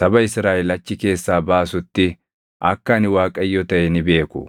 saba Israaʼel achi keessaa baasutti akka ani Waaqayyo taʼe ni beeku.”